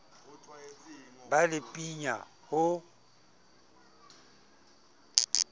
ba le pin ya ho